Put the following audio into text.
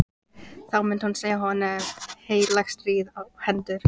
Þá myndi hún segja honum heilagt stríð á hendur!